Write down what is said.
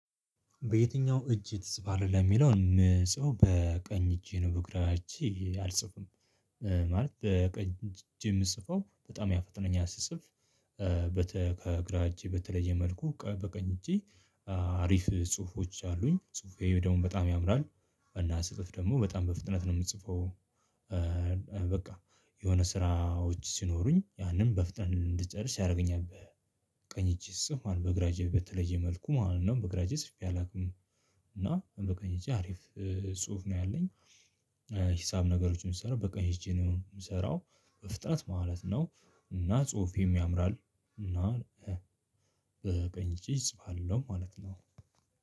በየትኛው? እጅ ትጽፋለህ ለሚለው ምጽፈው በቀኝ እጄ ነው በእግራ እጄ አልጽፍም ማለት በቀኝ እጄ የምጽፈው በጣም ያፈጠነኛል ስጽፍ። ከግራ እጄ በተለየ መልኩ በቀኝ እጄ አሪፍ ጽሁፎች አሉኝ ጽሁፌ ደግሞ በጣም ያምራል። እና ስጽፍ ደግሞ በጣም በፍጥነት ነው የምጽፈው። በቃ የሆነ ስራዎች ሲኖሩኝ ያንን በፍጥነት እንድጨርስ ያደርገኛል። በቀኝ እጅ ስጽፍ ማለት ነው በግራ እጄ በተለየ መልኩ ማለት ነው በግራ እጄ ጽፌ አላውቅም። እና በቃ እጄ አሪፍ ጽሁፍ ነው ያለኝ። ሂሳብ ነገሮችን ስሰራ በቀኝ እጄ ነው የምሰራው በፍጥነት ማለት ነው። እና ጽሁፌም ያምራል እና በቀኝ እጄ እጽፋለሁ ማለት ነው።